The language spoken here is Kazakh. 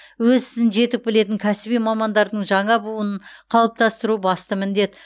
өз ісін жетік білетін кәсіби мамандардың жаңа буынын қалыптастыру басты міндет